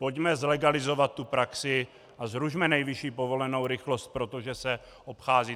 Pojďme zlegalizovat tu praxi a zrušme nejvyšší povolenou rychlost, protože se obchází!